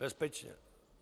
Bezpečně.